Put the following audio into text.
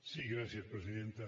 sí gràcies presidenta